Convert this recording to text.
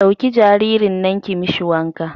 Ɗauki jaririn nan ki mishi wanka